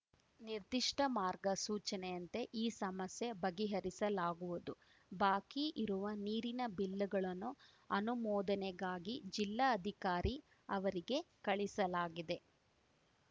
ನಿರ್ದಿಷ್ಟಮಾರ್ಗಸೂಚನೆಯಂತೆ ಈ ಸಮಸ್ಯೆ ಬಗೆಹರಿಸಲಾಗುವುದು ಬಾಕಿ ಇರುವ ನೀರಿನ ಬಿಲ್ಲುಗಳನ್ನು ಅನುಮೋದನೆಗಾಗಿ ಜಿಲ್ಲಾಅಧಿಕಾರಿ ಅವರಿಗೆ ಕಳಿಸಲಾಗಿದೆ